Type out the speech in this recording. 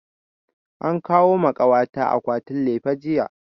An kawo ma kawa ta akwatin lefe jiya